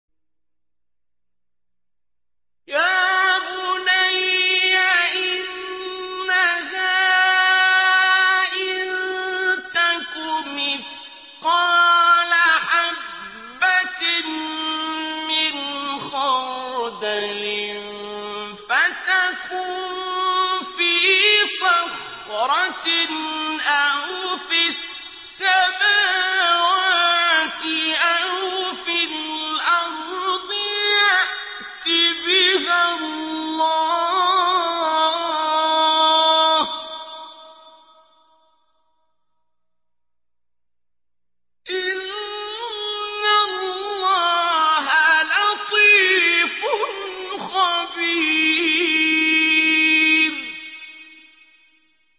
يَا بُنَيَّ إِنَّهَا إِن تَكُ مِثْقَالَ حَبَّةٍ مِّنْ خَرْدَلٍ فَتَكُن فِي صَخْرَةٍ أَوْ فِي السَّمَاوَاتِ أَوْ فِي الْأَرْضِ يَأْتِ بِهَا اللَّهُ ۚ إِنَّ اللَّهَ لَطِيفٌ خَبِيرٌ